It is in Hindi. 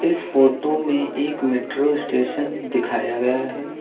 इस फोटो में एक मेट्रो स्टेशन दिखाया गया है।